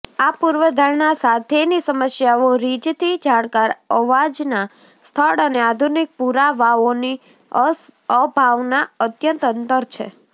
આ પૂર્વધારણા સાથેની સમસ્યાઓ રિજથી જાણકાર અવાજના સ્થળ અને આધુનિક પુરાવાઓની અભાવના અત્યંત અંતર છે